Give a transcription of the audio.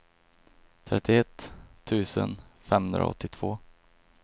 trettioett tusen femhundraåttiotvå